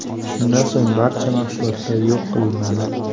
Shundan so‘ng barcha mahsulotlar yo‘q qilinadi.